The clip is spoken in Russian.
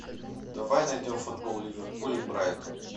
давай найдем футбол ливерпуль и брайтон